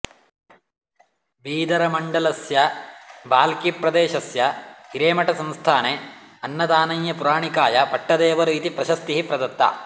बीदरमण्डलस्य बाल्किप्रदेशस्य हिरेमठसंस्थाने अन्नदानय्यपुराणिकाय पट्टदेवरु इति प्रशिस्तिः प्रदत्ता